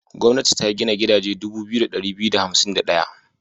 Gwamnati ta gina gidaje dubu biyu da ɗari biyu da hansim da ɗaya.